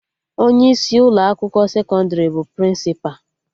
Onye isi Ụlọ akwụkwọ sekọndrị bụ Prịnsịpa